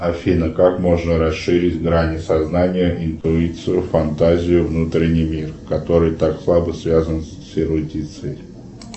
афина как можно расширить грани сознания интуицию фантазию внутренний мир который так слабо связан с эрудицией